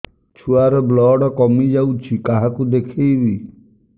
ଛୁଆ ର ବ୍ଲଡ଼ କମି ଯାଉଛି କାହାକୁ ଦେଖେଇବି